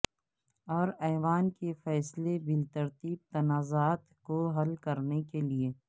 اور ایوان کے فیصلے بالترتیب تنازعات کو حل کرنے کے لئے